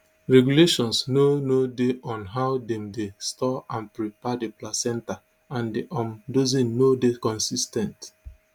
regulations no no dey on how dem dey store and prepare di placenta and di um dosing no dey consis ten t